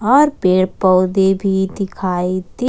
और पेड़ पौधे भी दिखाई--